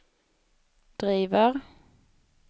driver